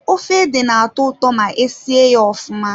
Efe ede na-atọ ụtọ ma e sie ya ofụma.